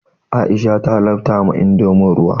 Aisha ta lafta ma indomin ruwa.